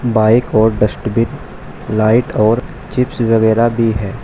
Bike और dustbin light और chips वगैरा भी है।